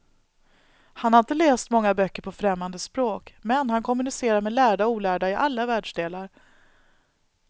Han har inte läst många böcker på främmande språk, men han kommunicerar med lärda och olärda i alla världsdelar.